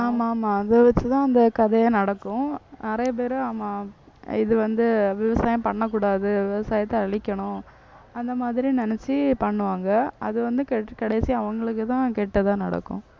ஆமா ஆமா அதை வச்சுதான் இந்த கதையே நடக்கும் நிறைய பேரு ஆமா இது வந்து விவசாயம் பண்ணக் கூடாது விவசாயத்தை அழிக்கணும் அந்த மாதிரி நினைச்சு பண்ணுவாங்க அது வந்து கெட்~ கடைசியா அவங்களுக்குத்தான் கெட்டதா நடக்கும்.